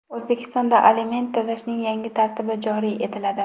O‘zbekistonda aliment to‘lashning yangi tartibi joriy etiladi.